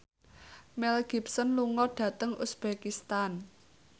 Mel Gibson lunga dhateng uzbekistan